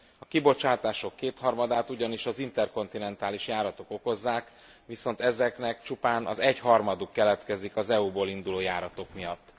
A kibocsátások kétharmadát ugyanis az interkontinentális járatok okozzák, viszont ezeknek csupán az egyharmaduk keletkezik az EU ból induló járatok miatt.